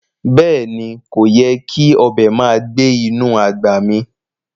Beeni, koyè́ kí ọbẹ màá gbẹ̀ inú agbá mí